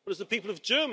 Ich hoffe auf ihre Initiative!